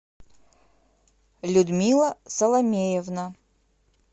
людмила соломеевна